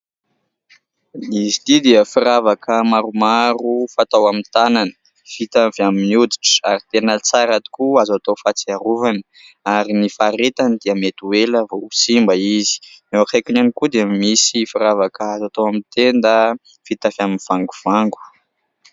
Izy ity dia firavaka maromaro fatao amin'ny tànana, vita avy amin'ny hoditra ary tena tsara tokoa, azo atao fahatsiarovana ary ny faharetany dia mety ho ela vao simba izy. Eo akaikiny ihany koa dia misy firavaka azo atao amin'ny tenda, vita avy amin'ny vangovango.